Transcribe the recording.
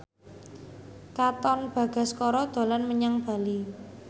Katon Bagaskara dolan menyang Bali